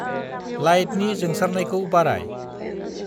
लाइटनि जोंसारनायखौ बाराय।